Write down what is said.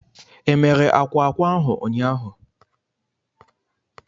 E mere akwa ákwà ahu ụnyaahụ?